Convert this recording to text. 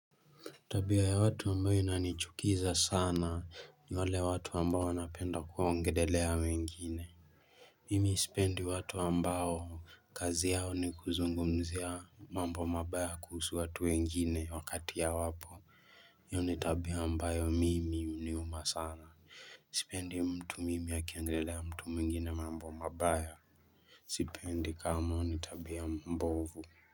Tabia ya watu ambayo inanichukiza sana ni wale watu ambao wanapenda kuongelelea wengine. Mimi isipendi watu ambayo kazi yao ni kuzungumzia mambo mabaya kuhusu watu mengine wakati hawapo. Hiyo ni tabia ambayo mimi huniuma sana. Sipendi mtu mimi akiongelea mtu mwingine mambo mabaya. Sipendi kama nitabia mbovu.